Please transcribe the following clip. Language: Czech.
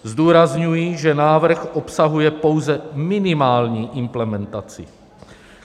Zdůrazňuji, že návrh obsahuje pouze minimální implementaci.